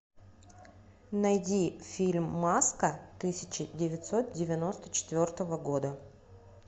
найди фильм маска тысяча девятьсот девяносто четвертого года